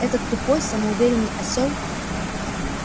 этот тупой самоуверенный осёл